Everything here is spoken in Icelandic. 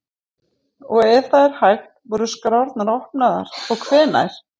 Og ef það er hægt, voru skrárnar opnaðar og hvenær?